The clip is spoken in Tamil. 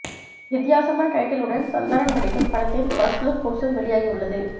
வித்தியாசமான டைட்டிலுடன் சந்தானம் நடிக்கும் படத்தின் ஃபர்ஸ்ட் லுக் போஸ்டர் வெளியாகியுள்ளது